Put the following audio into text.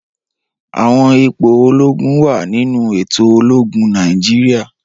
Awọn ipo ologun wa ninu eto ologun Naijiria.